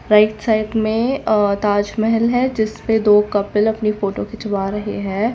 Right side में अ ताजमहल है जिसमे दो कपिल अपनी फोटो खिचवा रहे है।